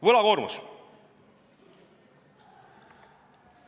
Võlakoormus.